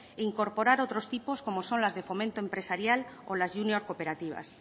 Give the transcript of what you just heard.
e incorporar otros tipos como son las de fomento empresarial o las junior cooperativas